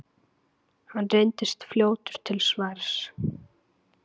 Hann reynist fljótur til svars.